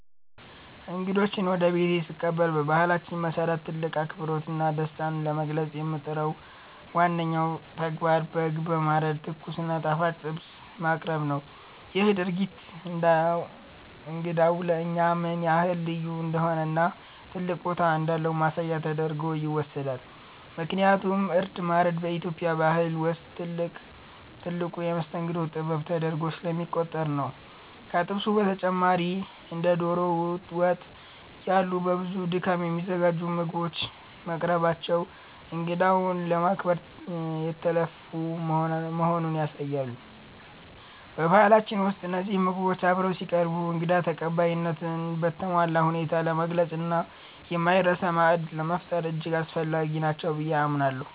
እንግዶችን ወደ ቤቴ ስቀበል በባህላችን መሰረት ትልቅ አክብሮትና ደስታን ለመግለጽ የምመርጠው ዋነኛው ተግባር በግ በማረድ ትኩስ እና ጣፋጭ ጥብስ ማቅረብን ነው። ይህ ድርጊት እንግዳው ለእኛ ምን ያህል ልዩ እንደሆነና ትልቅ ቦታ እንዳለው ማሳያ ተደርጎ ይወሰዳል፤ ምክንያቱም እርድ ማረድ በኢትዮጵያ ባህል ውስጥ ትልቁ የመስተንግዶ ጥበብ ተደርጎ ስለሚቆጠር ነው። ከጥብሱ በተጨማሪ እንደ ዶሮ ወጥ ያሉ በብዙ ድካም የሚዘጋጁ ምግቦች መቅረባቸው እንግዳውን ለማክበር የተለፋ መሆኑን ያሳያሉ። በባህላችን ውስጥ እነዚህ ምግቦች አብረው ሲቀርቡ እንግዳ ተቀባይነትን በተሟላ ሁኔታ ለመግለጽና የማይረሳ ማዕድ ለመፍጠር እጅግ አስፈላጊ ናቸው ብዬ አምናለሁ።